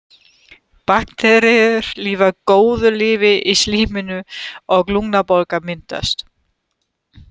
Bakteríur lifa góðu lífi í slíminu og lungnabólga myndast.